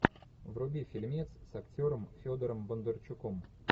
вруби фильмец с актером федором бондарчуком